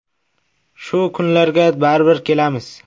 Shu kunlarga baribir kelamiz”.